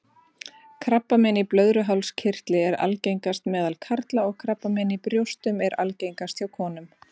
Krabbamein í blöðruhálskirtli er algengast meðal karla og krabbamein í brjóstum er algengast hjá konum.